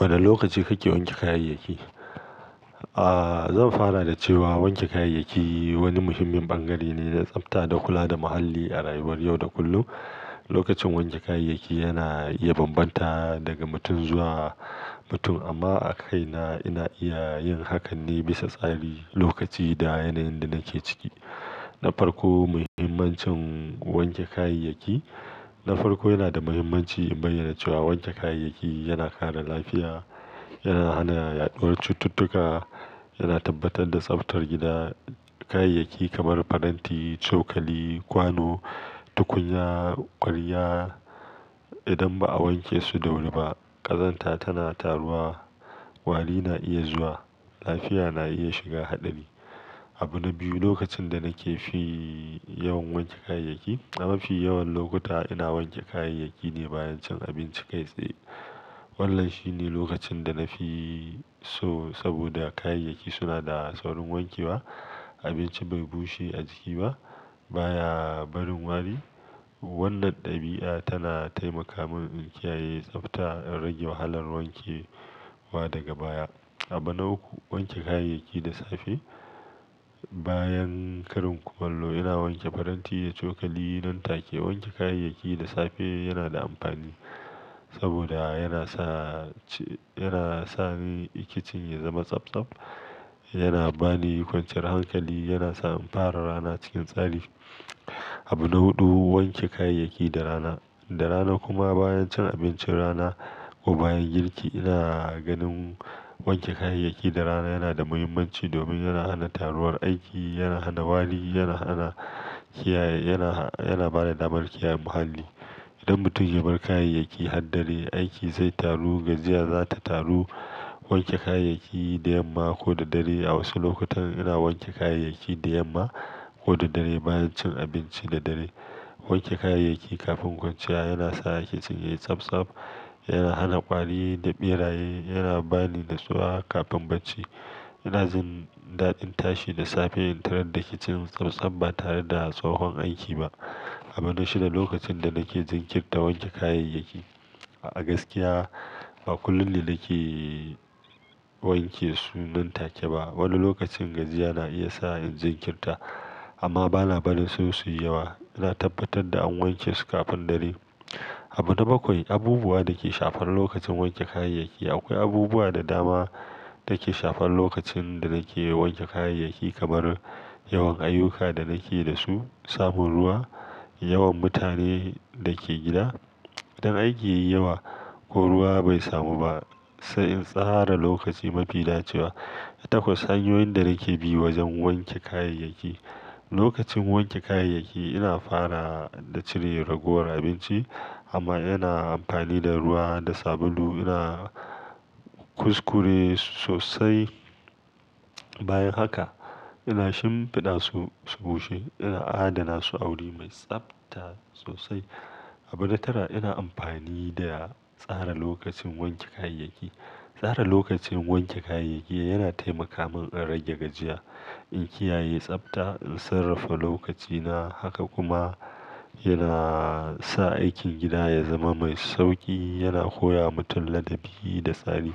Wane lokaci kake wanke kayayyaki? Aaa, zan fara da cewa wanke kayayyaki wani muhimmin bangare ne na tsafta da kula da muhalli a rayuwar yau da kullum. Lokacin wanke kayayyaki yana iya bambanta daga mutum zuwa mutum, amma a kai na, ina iya yin hakan ne bisa tsari, lokaci, da yanayin da nake ciki. Na farko, muhimmancin wanke kayayyaki. Na farko yana da muhimmanci in bayyana cewa wanke kayayyaki yana kare lafiya, yana hana yaɗuwar cututtuka, yana tabbatar da tsaftar gida. Kayayyaki kamar faranti, cokali, kwano, tukunya, ƙwarya, idan ba a wanke su da wuri ba, ƙazanta tana taruwa, wari na iya zuwa, lafiya na iya shiga haɗari. Abu na biyu, lokacin da nake fi yawan wanke kayayyaki. A mafi yawan lokuta ina wanke kayayyaki ne bayan cin abinci kai tsaye. Wannan shine lokacin da na fi so saboda kayayyaki suna da saurin wanke wa, abinci bai bushe a jiki ba, baya barin wari. Wannan ɗabi'a tana taimaka min in kiyaye tsafta in rage wahalar wanke wa daga baya. Abu na uku, wanke kayayyaki da safe. Bayan karin kumallo ina wanke faranti da cokali nan take. Wanke kayayyaki da safe yana da amfani saboda yana sa ci-- yana sa ni kicin ya zama tsabtsab, yana bani kwanciyar hankali, yana sa in fara rana cikin tsari. Abu na huɗu, wanke kayayyaki da rana. Da rana kuma bayan cin abincin rana ko bayan girki ina ganin wanke kayayyaki da rana yana da muhimmanci domin yana hana taruwar aiki, yana hana wari, yana hana kiyaye, yana, yana ba da damar kiyaye muhalli. Idan mutum ya bar kayayyaki har dare, aiki zai taru, gajiya za ta taru. Wanke kayayyaki da yamma ko da dare, a wasu lokutan ina wanke kayayyaki da yamma ko da dare bayan cin abinci da dare. Wanke kayayyaki kafin kwanciya yana sa kicin yayi tsabtsab, yana hana ƙwari da ɓeraye, yana bani na tsuwa kafin bacci. Ina jin daɗin tashi da safe in tarar da kicin tsabtsab ba tare da tsohon aiki ba. Abu na shida, lokacin da nake jinkirta wanke kayayyaki. A gaskiya ba kullum ne nake wanke su nan take ba. Wani lokacin gajiya na iya sa in jinkirta, amma bana barin su suyi yawa. Ina tabbatar da an wanke su kafin dare. Abu na bakwai, abubuwa da ke shafar lokacin wanke kayayyaki. Akwai abubuwa da dama da ke shafar lokacin da nake wanke kayayyaki kamar yawan ayuka da nake da su, samun ruwa, yawan mutane da ke gida, idan aiki yayi yawa ko ruwa bai samu ba, sa'in tsara lokaci mafi dacewa. Itako, sanyoyin da nake bi wajen wanke kayayyaki. Lokacin wanke kayayyaki ina fara da cire ragowar abinci amma ina amfani da ruwa da sabulu, ina kuskure sosai. Bayan haka ina shimfiɗa su, su bushe, ina adana su a wuri mai tsafta sosai. Abu na tara, ina amfani da tsara lokacin wanke kayayyaki. Tsara lokacin wanke kayayyaki yana taimaka min in rage gajiya, in kiyaye tsafta, in sarrafa lokacina, haka kuma yana sa aikin gida ya zama mai sauƙi, yana koya wa mutum ladabi da tsari.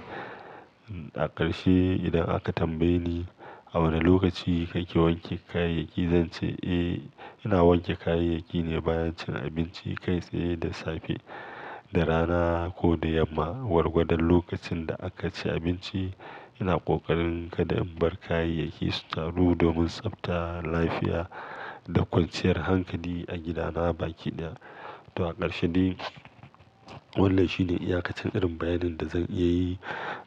A ƙarshe, idan aka tambaye ni a wane lokaci kake wanke kayayyaki, zance, "Eh, ina wanke kayayyaki ne bayan cin abinci kai tsaye da safe, da rana ko da yamma, gwargwadon lokacin da aka ci abinci." Ina ƙoƙarin kada in bar kayayyaki su taru domin tsaftar lafiya da kwanciyar hankali a gidana baki da. To a ƙarshe dai, wannan shine iyakacin irin bayanin da zan iya yi,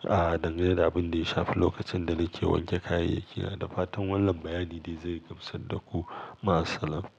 aa, dangane da abin da ya shafi lokacin da nake wanke kayayyaki. Da fatan wannan bayani zai gamsar da ku. Ma'asalama.